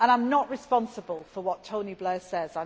And I am not responsible for what Tony Blair